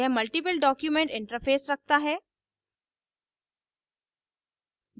यह multiple document interface multiple document interface रखता है